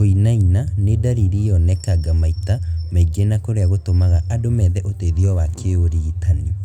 Kũinaina nĩ ndariri yonekanga maita maingĩ na kũrĩa gũtũmaga andũ methe ũteithio wa kĩũrigitani